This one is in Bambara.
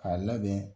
K'a labɛn